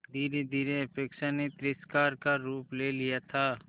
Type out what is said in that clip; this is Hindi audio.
धीरेधीरे उपेक्षा ने तिरस्कार का रूप ले लिया था